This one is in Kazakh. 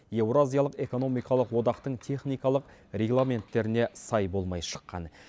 еуразиялық экономикалық одақтың техникалық регламенттеріне сай болмай шыққан